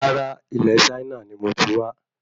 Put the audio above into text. Rárá, ilé Chaina nií mo ti wá